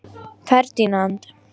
Ferdinand